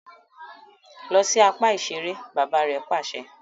Lọ si apá iṣere! bàbà rè pàṣẹ